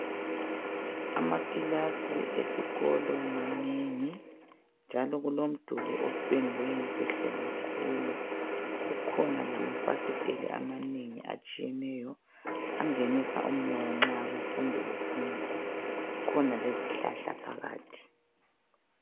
Amakilasi esikolo manengi njalo kulomduli opendwe kuhle kakhulu. Kukhona lamafasitela amanengi atshiyeneyo angenisa umoya nxa abafundi befunda. Kulezihlahla njalo phakathi.